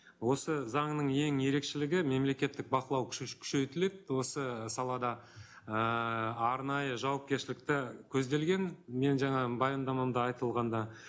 осы заңның ең ерекшелігі мемлекеттік бақылау күш күшейтіледі осы салада ыыы арнайы жауапкершілікті көзделген менің жаңағы баяндамамда айтылғанда